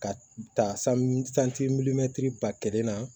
Ka ta na